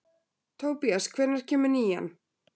Tobías, hvenær kemur nían?